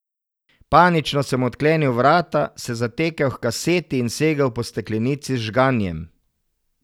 Panično sem odklenil vrata, se zatekel h kaseti in segel po steklenici z žganjem.